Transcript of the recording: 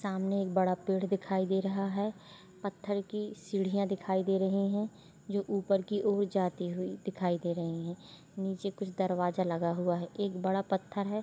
सामने एक बड़ा पेड़ दिखाई दे रहा है पत्थर की सीढ़ियाँ दिखाई दे रही है जो ऊपर की ओर जाती हुई दिखाई दे रही है निचे कुछ दरवाजा लगा हुआ है एक बड़ा पत्थर है।